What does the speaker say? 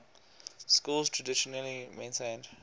schools traditionally maintained